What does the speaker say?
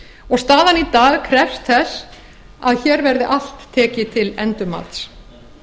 og staðan í dag krefst þess að hér verði allt tekið til endurmats